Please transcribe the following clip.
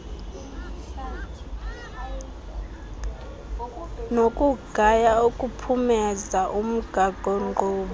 nokugaya ukuphumeza umgaqonkqubo